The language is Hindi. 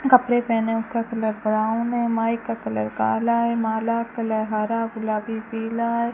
कपड़े पहने उसका कलर ब्राउन है माइक का कलर काला है माला कलर हरा गुलाबी पीला है।